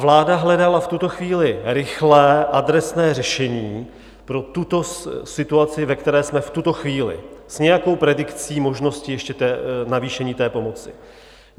Vláda hledala v tuto chvíli rychlé adresné řešení pro tuto situaci, ve které jsme v tuto chvíli, s nějakou predikcí možnosti ještě navýšení té pomoci.